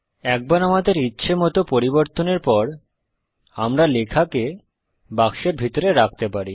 একবার আমাদের ইচ্হেমত পরিবর্তনের পর আমরা লেখাকে বাক্সের ভিতরে রাখতে পারি